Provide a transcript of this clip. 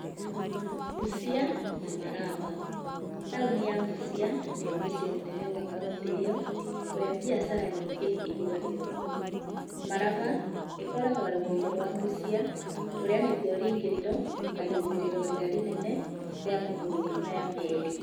Busia na Malaba. Taũni ya Busia nĩyo mũciĩ mũnene wa kauntĩ ĩyo kũrĩa biacara nyingĩ cihũragĩrwo kuo. Malaba ĩkoragwo rũgongo rwa Busia kũrĩa nĩkuo rĩingĩrĩro na riumĩrĩro rĩrĩa rĩnene rĩa mabũrũri maya merĩ.